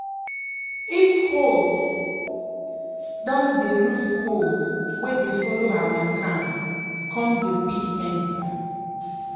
if hold don dey roof cold wey dey follow harmattan come dey quick enter.